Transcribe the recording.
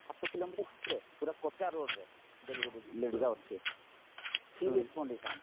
ସାତ କିଲୋମିଟର ଭିତରେ ପୁରା କଚା ରୋଡରେ delivery lady ର ଅଛି serious condition